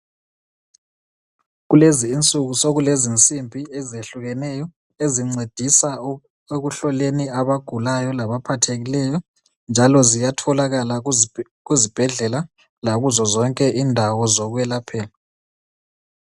Kulezinsuku sokulezinsimbi ezehlukeneyo ezincedisa ekuhloleni abagulayo labaphathekileyo njalo ziyatholakala kuzibhedlela lakuzozonke indawo zokwelaphela.